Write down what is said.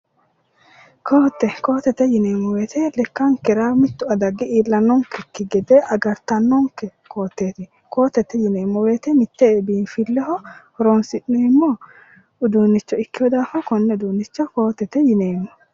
Ko"atte ko"attete yineemmmo woyte lekkankera mittu adagi iillannonkekki gede agartannoke ko"atteeti ko"attete yineemmo woyte mitte biinfilleho horoonsi'neemmo uduunnicho ikkeyo daafira konne uduunnicho ko"attete yineemmo